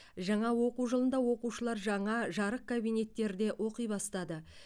жаңа оқу жылында оқушылар жаңа жарық кабинеттерде оқи бастады